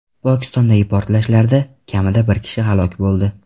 Pokistondagi portlashlarda kamida bir kishi halok bo‘ldi.